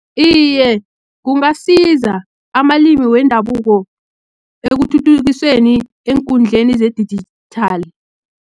Iye, kungasiza amalimi wendabuko, ekuthuthukiseni eenkundleni zedijithali.